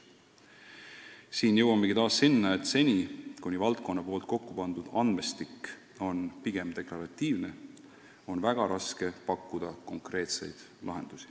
Siin jõuamegi taas järelduseni, et seni, kuni valdkonna kokku pandud andmestik on pigem deklaratiivne, on väga raske pakkuda konkreetseid lahendusi.